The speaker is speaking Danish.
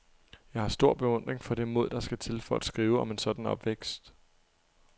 Jeg har stor beundring for det mod, der skal til for at skrive om en sådan opvækst.